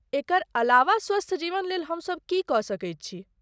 एकर अलावा स्वस्थ जीवन लेल हमसब की कऽ सकैत छी?